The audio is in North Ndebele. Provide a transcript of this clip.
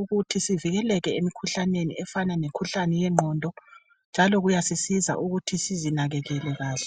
ukuthi sivikeleke emkhuhlaneni efana lemkhuhlane yengqondo, njalo kuyasisiza ukuthi sizinakekele kahle.